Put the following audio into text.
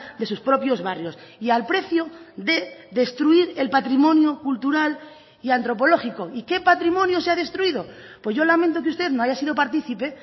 de sus propios barrios y al precio de destruir el patrimonio cultural y antropológico y qué patrimonio se ha destruido pues yo lamento que usted no haya sido participe